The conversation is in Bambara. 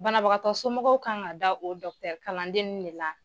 Banabagatɔ somɔgɔw kan ka da o dɔkitɛri kalandenw de la.